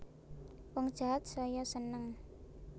Wong jahat saya seneng